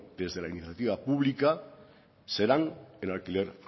desde la iniciativa pública serán en alquiler